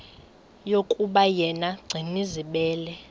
yokuba yena gcinizibele